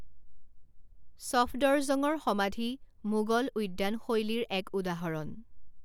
ছফদৰজংৰ সমাধি মোগল উদ্যান শৈলীৰ এক উদাহৰণ।